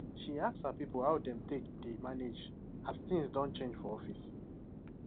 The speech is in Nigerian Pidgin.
she ask her people how dem take dey manage as things don change for office